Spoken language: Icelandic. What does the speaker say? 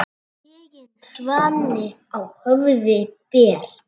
Tigin svanni á höfði ber.